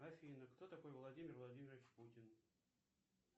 афина кто такой владимир владимирович путин